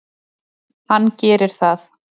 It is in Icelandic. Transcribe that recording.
Hann gerir það.